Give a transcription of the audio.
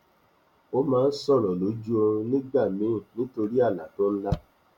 o máa n sọrọ lójú oorún nígbà míì nítorí àlá tó n lá